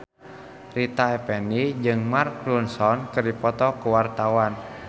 Rita Effendy jeung Mark Ronson keur dipoto ku wartawan